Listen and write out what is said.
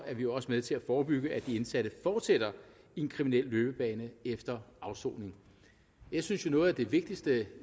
er vi også med til at forebygge at de indsatte fortsætter en kriminel løbebane efter afsoningen jeg synes jo noget af det vigtigste